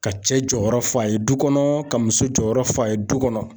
Ka cɛ jɔyɔrɔ fɔ a ye du kɔnɔ ka muso jɔyɔrɔ fɔ a ye du kɔnɔ.